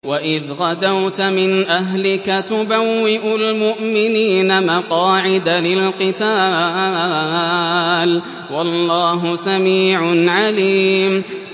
وَإِذْ غَدَوْتَ مِنْ أَهْلِكَ تُبَوِّئُ الْمُؤْمِنِينَ مَقَاعِدَ لِلْقِتَالِ ۗ وَاللَّهُ سَمِيعٌ عَلِيمٌ